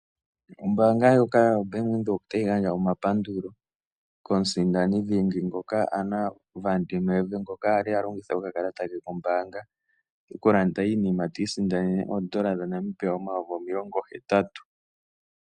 Ombaanga ndjoka yoBank Windhoek otayi gandja omapandulo komusindani dhingi ngoka Anna van der Merwe ngoka a longitha okakalata ke kombaanga okulanda iinima, ti isindanene N$ 80 000.